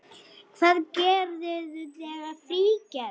Hvað gerirðu þegar frí gefst?